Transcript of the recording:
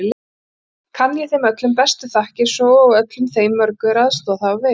Kann ég þeim öllum bestu þakkir svo og öllum þeim mörgu, er aðstoð hafa veitt.